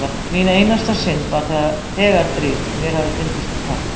Mín einasta synd var þegar drýgð og mér hafði fundist hún falleg.